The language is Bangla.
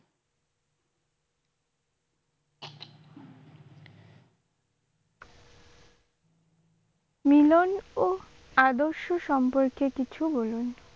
মিলন ও আদর্শ সম্পর্কে কিছু বলুন?